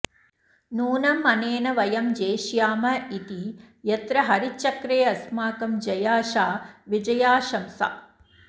नूनमनेन वयं जेष्याम इति यत्र हरिचक्रेऽस्माकं जयाशा विजयाशंसा